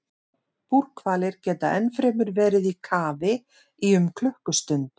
Búrhvalir geta ennfremur verið í kafi í um klukkustund.